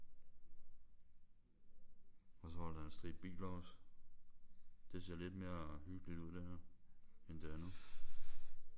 Og så holder der en stribe biler også. Det ser lidt mere hyggeligt ud det her end det andet